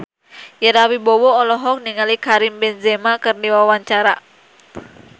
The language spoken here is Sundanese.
Ira Wibowo olohok ningali Karim Benzema keur diwawancara